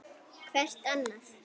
Hvert annað.